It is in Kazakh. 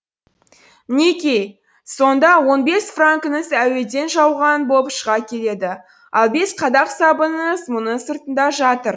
мінеки сонда он бес франкіңіз әуеден жауған болып шыға келеді ал бес қадақ сабыныңыз мұның сыртында жатыр